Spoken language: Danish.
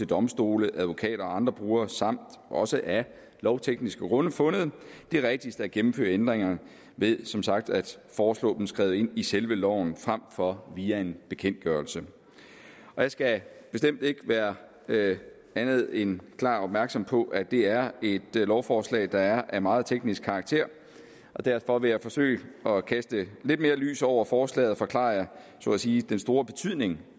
domstole advokater og andre brugere samt også af lovtekniske grunde fundet det rigtigst at gennemføre ændringerne ved som sagt at foreslå dem skrevet ind i selve loven frem for via en bekendtgørelse jeg skal bestemt ikke være andet end klart opmærksom på at det er et lovforslag der er af meget teknisk karakter og derfor vil jeg forsøge at kaste lidt mere lys over forslaget og forklare så at sige den store betydning